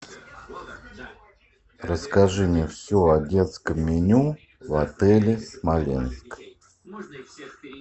расскажи мне все о детском меню в отеле смоленск